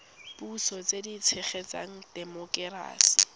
puso tse di tshegetsang temokerasi